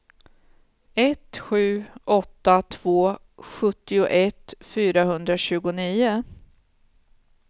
ett sju åtta två sjuttioett fyrahundratjugonio